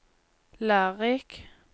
lærerik